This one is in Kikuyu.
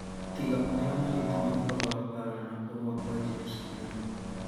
Tiga marĩa mari nginya ũhoro wa mbaara na kũrũa kwa James Kiuna